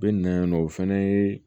U bɛ na yan nɔ o fɛnɛ ye